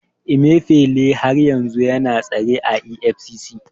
Emifele har yanzu yana tsare a EFCC.